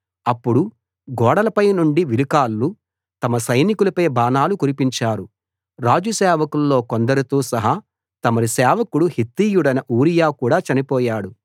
అప్పుడు గోడలపై నుండి విలుకాళ్ళు తమ సైనికులపై బాణాలు కురిపించారు రాజు సేవకుల్లో కొందరితో సహా తమరి సేవకుడు హిత్తీయుడైన ఊరియా కూడా చనిపోయాడు